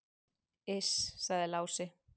"""Iss, sagði Lási."""